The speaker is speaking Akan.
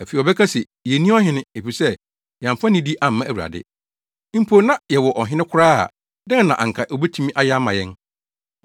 Afei, wɔbɛka se, “Yenni ɔhene, efisɛ, yɛamfa nidi amma Awurade. Mpo sɛ na yɛwɔ ɔhene koraa a, dɛn na anka obetumi ayɛ ama yɛn?”